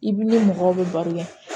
I b'i ni mɔgɔw bɛ baro kɛ